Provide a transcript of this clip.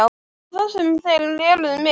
Og það sem þeir eru með.